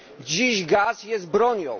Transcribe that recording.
Dziś gaz jest bronią.